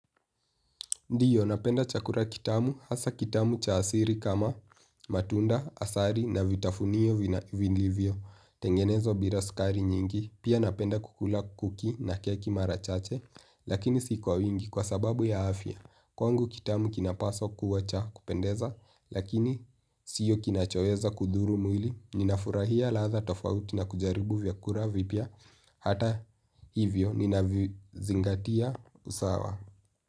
Ndio napenda chakura kitamu, hasa kitamu cha asiri kama, matunda, asari na vitafunio vinivyo. Tengenezwa biraskari nyingi, pia napenda kukula kuki na keki marachache, lakini sikuwa wingi kwa sababu ya afya. Kwangu, kitamu kinapaswa kuwa cha, kupendeza, lakini siyo kinachoeza kudhuru mwili, ninafurahia latha tafauti na kujaribu vyakura vipya, hata hivyo nina zingatia usawa.